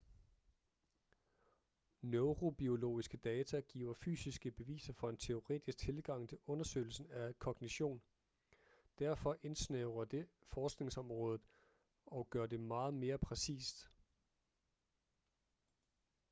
neurobiologiske data giver fysiske beviser for en teoretisk tilgang til undersøgelsen af kognition derfor indsnævrer det forskningsområdet og gør det meget mere præcist